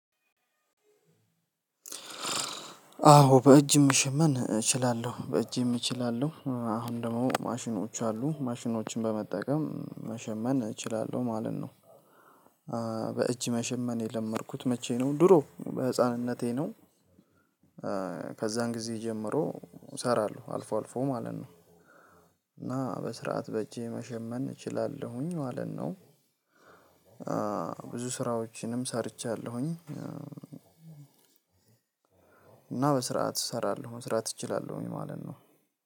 አዎ በእጅ መሸመን እችላለሁ በእጄም እችላለው አሁን ደግሞ ማሽኖች አሉ ማሽኖችን በመጠቀም መሸመን እችላለሁ ማለት ነው። በእጅ መሸመን የለመድኩት መቼ ነው? ድሮ በህፃንነቴ ነው። ከዛን ጊዜ ጀምሮ እሰራለሁ አልፎ አልፎ ማለት ነው። እና በስርዓት በእጄ መሸመን እችላለሁኝ ማለት ነው። ብዙ ስራዎችንም ሰርቻለሁኝ። እና በስርዓት እሰራለሁ መስራት እችላለሁኝ ማለት ነው።